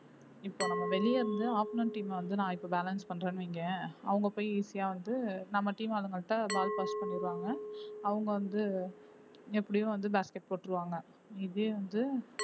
இப்போ நம்ம வெளியே இருந்து opponent team அ வந்து நான் இப்போ balance பண்றேன்னு வையேன் அவங்க போய் easy ஆ வந்து நம்ம team அதுங்கள்ட்ட ball pass பண்ணிடுவாங்க அவுங்க வந்து எப்படியும் வந்து basket போட்டுருவாங்க may be வந்து